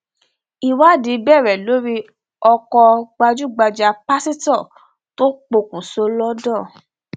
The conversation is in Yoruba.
ìwádìí bẹrẹ lórí ọkọ gbajúgbajà pásítọ tó pokùṣọ londo